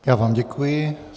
Já vám děkuji.